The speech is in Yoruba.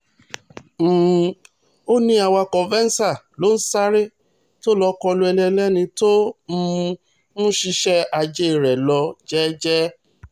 um ó ní awakọ̀ venza ló ń sáré tó lọ́ọ́ kọlu ẹni ẹlẹ́ni tó um ń ṣiṣẹ́ ajé rẹ̀ lọ jẹ́ẹ́jẹ́